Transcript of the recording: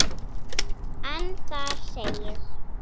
en þar segir